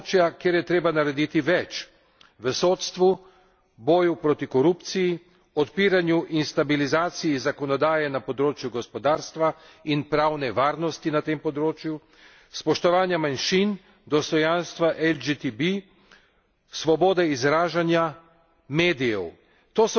Resolucija opozarja na področja, kjer je treba narediti več v sodstvu, boju proti korupciji, odpiranju in stabilizaciji zakonodaje na področju gospodarstva in pravne varnosti na tem področju, spoštovanja manjšin, dostojanstva LGTB, svobode izražanja,